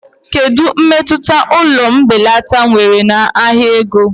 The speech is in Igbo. Kedu mmetụta ụlọ mbelata nwere na ahịa ego?